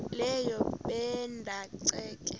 leyo ebanda ceke